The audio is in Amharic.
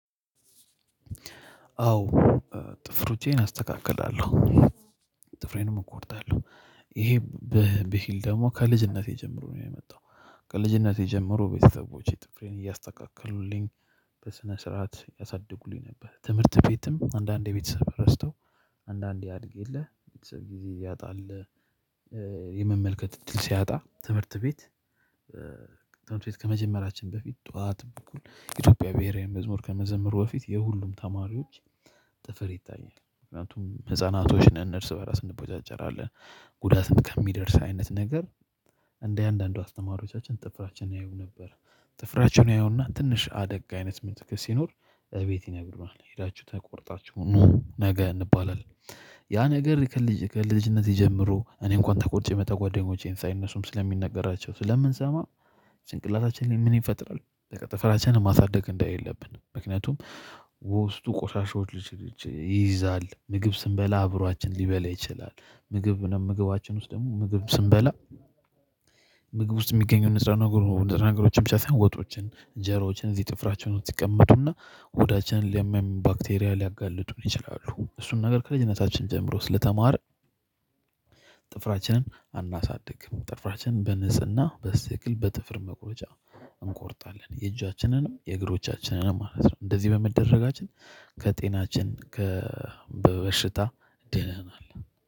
አዎ ጥፍሮቼን አስተካክላለሁ ጥፍሬንም እቆርጣለሁ። ይሄ ብሂል ደግሞ ከልጅነቴ ጀምሮ ነው የመጣው። ከልጅነቴ ጀምሮ ቤተሰቦቼ ጥፍሬን እያስተካከሉልኝ በስነ ስርዓት ያሳድጉልኝ ነበር። ትምህርት ቤትም አንዳንዴ ቤተሰብ ረስተው አንዳንዴ ያድግ የለ የተሰበ ጊዜ ያጣል። የመመልከት እጥል ሲያጣ ትምህርት ቤት። ትምህርት ቤት ከመጀመራችን በፊት ጠዋት በኩል የኢትዮጵያ ብሄራዊ መዝሙር ከመዘምሩ በፊት የሁሉም ተማሪዎች ጥፍር ይታያል ምክንያቱም ህፃናቶች ነን እርስ በራስ እንቦጫጨራለን። ጉዳትም ከሚደርስ አይነት ነገር እንደ አንዳንድ አስተማሪዎቻችን ጥፍራችንን ያዩ ነበር። ጥፍራችንን ያዩና ትንሽ አደግ አይነት ምትል ሲኖር እቤት ይነግሩናል ሄዳችሁ ተቆርጣችሁ ኑ ነገ እንባላለን። ያ ነገር ከልጅ ከልጅነቴ ጀምሮ እኔ እንኳን ተቆርጬ ብመጣ ጓደኞቼን ሳይ እነሱም ስለሚነገራቸው ስለምንሰማ። ጭንቅላታችን ላይ ምን ይፈጥራል በቃ ጥፍራችንን ማሳደግ እንደሌለብን ምክንያቱም ውስጡ ቆሻሻዎች ይይዛል። ምግብ ስንበላ አብሯችን ሊበላ ይችላል። ምግብ ምግባችን ውስጥ ደግሞ ምግብ ስንበላ። ምግብ ውስጥ የሚገኘው ንጥረ ነገሮችን ብቻ ሳይሆን ወጦችን እጀራዎችን እዚህ ጥፍራችን ውስጥ ይቀመጡና ሆዳችንን ለሚያም ባክቴሪያ ሊያጋልጡን ይችላሉ። እሱን ነገር ከልጅነታችን ጀምሮ ስለተማረ ጥፍራችንን አናሳድግም። ጥፍራችን በንጽህና በስትክክል በጥፍር መቁረጃ እንቆርጣለን የእጃችንንም የእግሮቻችንንም ማለት ነው። እንደዚህ በመደረጋችን ከጤናችን ከበሽታ ድነናል።